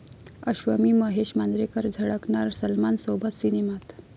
अश्वमी महेश मांजरेकर झळकणार सलमानसोबत सिनेमात!